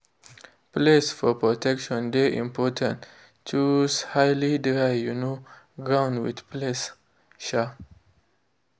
place for protection de important _ choose high dry um ground with place. um